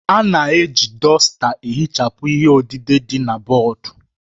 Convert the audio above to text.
A na-eji dọsta ihichapụ ihe odide dị na bọọdụ